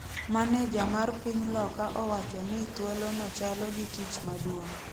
Maneja mar piny loka owacho ni thuolo no chalo gi ‘tich maduong’’,